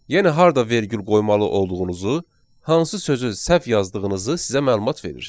Yəni harda vergül qoymalı olduğunuzu, hansı sözü səhv yazdığınızı sizə məlumat verir.